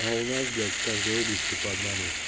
а у нас блять в каждой области по одному